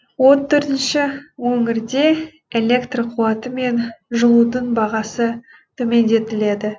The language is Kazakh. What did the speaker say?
он төртінші өңірде электр қуаты мен жылудың бағасы төмендетіледі